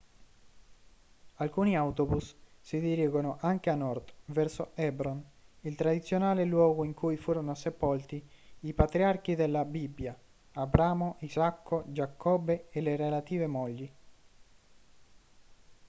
alcuni autobus si dirigono anche a nord verso hebron il tradizionale luogo in cui furono sepolti i patriarchi della bibbia abramo isacco giacobbe e le relative mogli